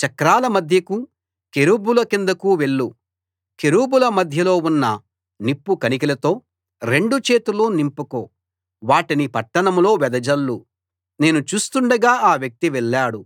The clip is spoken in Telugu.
చక్రాల మధ్యకు కెరూబుల కిందకు వెళ్ళు కెరూబుల మధ్యలో ఉన్న నిప్పు కణికలతో రెండు చేతులూ నింపుకో వాటిని పట్టణంలో వెదజల్లు నేను చూస్తుండగా ఆ వ్యక్తి వెళ్ళాడు